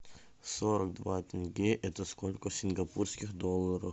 сорок два тенге это сколько в сингапурских долларах